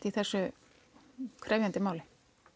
í þessu krefjandi máli